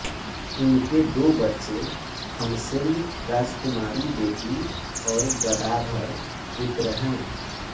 उनके दो बच्चे खमसेंग राजकुमारी बेटी और गदाधर पुत्र हैं